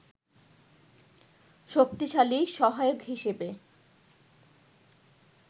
শক্তিশালী সহায়ক হিসেবে